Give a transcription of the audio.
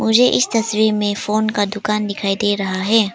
मुझे इस तस्वीर में फोन का दुकान दिखाई दे रहा है।